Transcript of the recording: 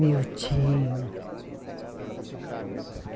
Meu tio.